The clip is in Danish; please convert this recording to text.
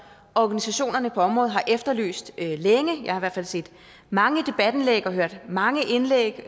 organisationerne på området har efterlyst længe jeg har i hvert fald set mange debatindlæg og hørt mange indlæg